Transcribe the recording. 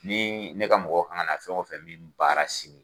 Ni ne ka mɔgɔ kan ka fɛn o fɛ min baara sini